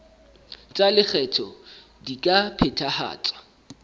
tsa lekgetho di ka phethahatswa